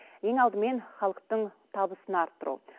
ең алдымен халықтың табысын арттыру